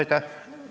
Aitäh!